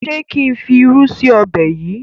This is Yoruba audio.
ṣe kín fí ìrù sí Ọbẹ̀ yí?